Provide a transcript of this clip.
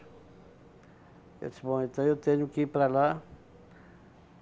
Eu disse, bom, então eu tenho que ir para lá.